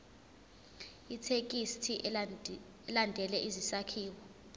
ithekisthi ilandele isakhiwo